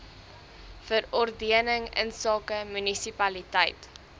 verordening insake munisipaliteit